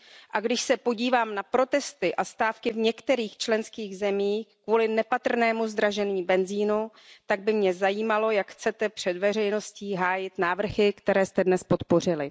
A když se podívám na protesty a stávky v některých členských zemích kvůli nepatrnému zdražení benzínu, tak by mě zajímalo, jak chcete před veřejností hájit návrhy, které jste dnes podpořili.